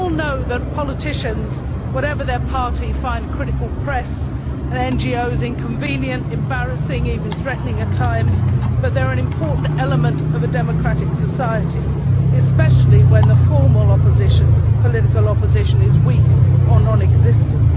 We all know that politicians, whatever their party, find a critical press and NGOs inconvenient, embarrassing and even threatening at times, but they are an important element of a democratic society, especially when the formal political opposition is weak or non existent.